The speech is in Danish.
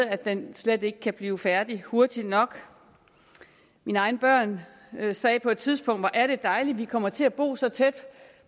at den slet ikke kan blive færdig hurtigt nok mine egne børn sagde på et tidspunkt hvor er det dejligt at vi kommer til at bo så tæt